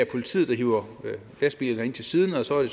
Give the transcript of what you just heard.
politiet der hiver lastbilerne ind til siden og så er det